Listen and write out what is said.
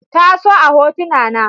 Ta so a hotuna na.